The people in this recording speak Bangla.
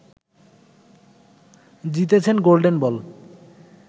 জিতেছেন 'গোল্ডেন বল'